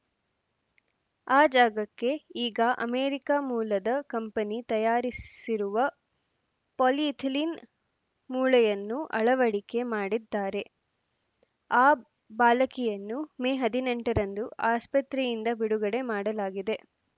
ಆ ಜಾಗಕ್ಕೆ ಈಗ ಅಮೆರಿಕ ಮೂಲದ ಕಂಪನಿ ತಯಾರಿಸಿರುವ ಪಾಲಿಎಥಿಲೀನ್‌ ಮೂಳೆಯನ್ನು ಅಳವಡಿಕೆ ಮಾಡಿದ್ದಾರೆ ಆ ಬಾಲಕಿಯನ್ನು ಮೇ ಹದಿನೆಂಟರಂದು ಆಸ್ಪತ್ರೆಯಿಂದ ಬಿಡುಗಡೆ ಮಾಡಲಾಗಿದೆ